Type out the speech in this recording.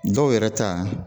Dɔw yɛrɛ ta